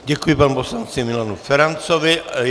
Děkuji panu poslanci Milanu Ferancovi.